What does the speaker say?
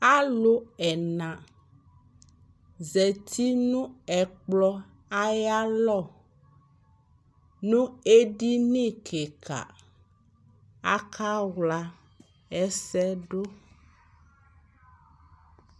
alʋbɛna zati nʋ ɛkplɔ ayi alɔ nʋ ɛdini kikaa, aka wla ɛsɛdʋ